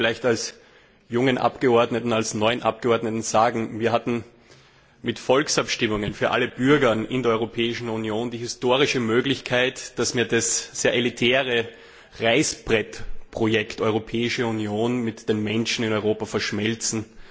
Lassen Sie mich vielleicht als jungen, neuen Abgeordneten sagen Wir hatten mit Volksabstimmungen für alle Bürger in der Europäischen Union die historische Möglichkeit, dass wir das sehr elitäre Reißbrettprojekt Europäische Union mit den Menschen in Europa verschmelzen.